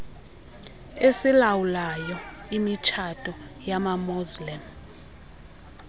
esilawulayo imitshato yamamuslim